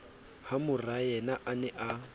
ha morayena a ne a